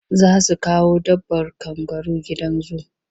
Za su kawo dabbar kangaru gidan zu.